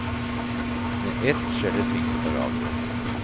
Med ett skjer det ting på radioen.